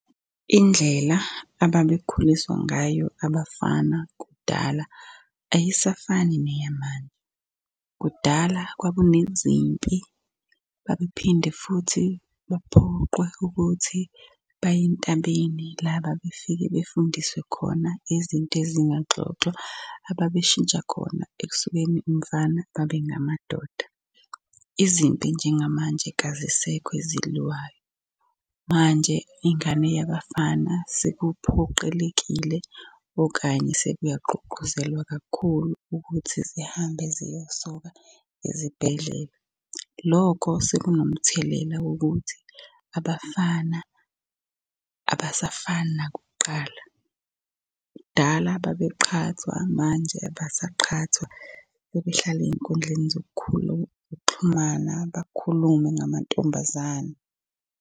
Indlela ababekhuliswa ngayo abafana kudala ayisafani neyamanje. Kudala kwakunezimpi, babephinde futhi baphoqwe ukuthi baye entabeni la ababefike befundiswe khona izinto ezingaxoxwa ababeshintsha khona ekusukeni umfana babengamadoda. Izimpi njengamanje kazisekho eziliwayo, manje ingane yabafana sekuphoqelekile okanye sekuyagqugquzelwa kakhulu ukuthi zihambe ziyosokwa ezibhedlela. Lokho sekunomthelela wokuthi abafana abasafani nakuqala. Kudala babeqhathwa, manje abasaqhathwa sebehlala ey'nkundleni zokukhuluma zokuxhumana, bakhulume ngamantombazane.